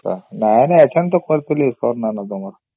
ନାଇଁ ନାଇଁ ଏତାନେ କରିଥଲି ସାର ନାଇଁ ନ ତମର